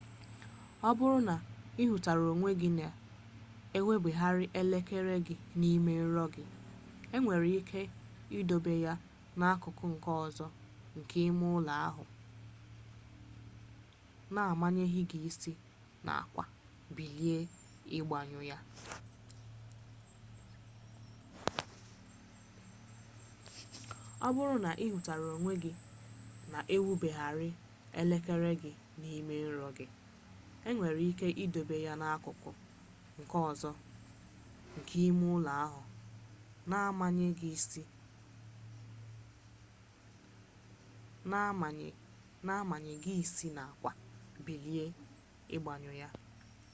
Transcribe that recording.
ọ bụrụ na ị hụtara onwe gị na-ewubergharị elekere gị n'ime nrọ gị e nwere ike idobe ya n'akụkụ nke ọzọ nke ime ụlọ ahụ na-amanye gị isi n'akwa bilie ịgbanyụ ya